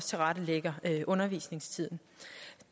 tilrettelægger undervisningstiden